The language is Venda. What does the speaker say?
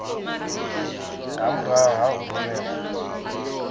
nga murahu ha u rumelwa